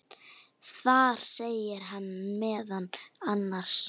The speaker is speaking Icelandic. Þar segir hann meðal annars